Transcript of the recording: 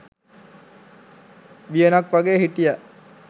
වියනක් වගේ හිටියා.